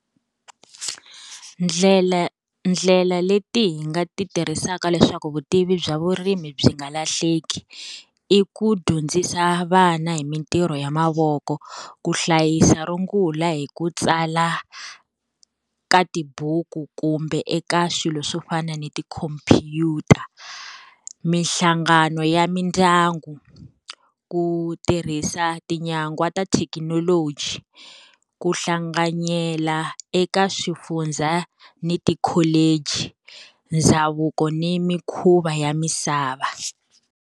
Ndlela ndlela leti hi nga ti tirhisaka leswaku vutivi bya vurimi byi nga lahleki. I ku dyondzisa vana hi mintirho ya mavoko, ku hlayisa rungula hi ku tsala ka tibuku kumbe eka swilo swo fana ni ti-computer, minhlangano ya mindyangu, ku tirhisa tinyagwa ta thekinoloji, ku hlanganyela eka swifundza ni ti-college, ndhavuko ni mikhuva ya misava.